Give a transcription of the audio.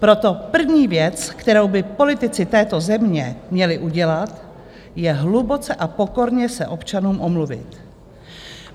Proto první věc, kterou by politici této země měli udělat, je hluboce a pokorně se občanům omluvit.